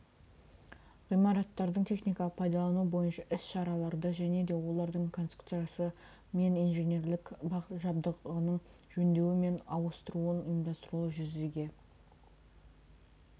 ғимараттардың техникалық пайдалануы бойынша іс-шараларды және де олардың конструкциясы мен инженерлік жабдығының жөндеуі мен ауыстыруын ұйымдастыруды жүзеге